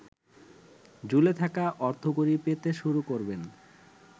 ঝুলে থাকা অর্থকড়ি পেতে শুরু করবেন।